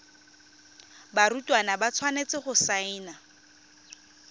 barutwana ba tshwanetse go saena